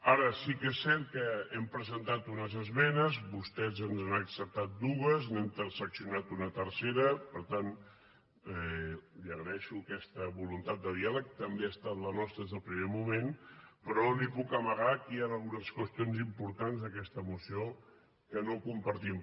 ara sí que és cert que hem presentat unes esmenes vostès ens n’han acceptat dues n’han transaccionat una tercera per tant li agraeixo aquesta voluntat de diàleg també ha estat la nostra des del primer moment però no li puc amagar que hi han algunes qüestions importants d’aquesta moció que no compartim